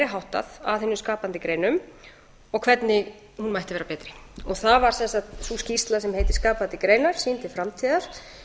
háttað að hinum skapandi greinum og hvernig hún mætti vera betri það var sem sagt sú skýrsla sem heitir skapandi greinar sýn til framtíðar